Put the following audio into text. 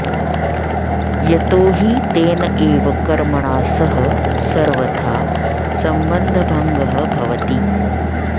यतो हि तेन एव कर्मणा सह सर्वथा सम्बन्धभङ्गः भवति